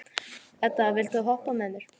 Edda, viltu hoppa með mér?